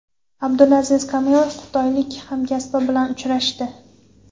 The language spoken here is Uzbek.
Abdulaziz Kamilov xitoylik hamkasbi bilan uchrashdi.